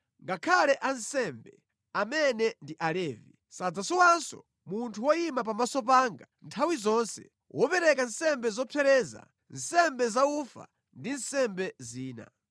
ngakhale ansembe, amene ndi Alevi, sadzasowanso munthu woyima pamaso panga nthawi zonse wopereka nsembe zopsereza, nsembe zaufa ndi nsembe zina.’ ”